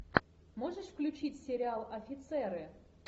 можешь включить сериал офицеры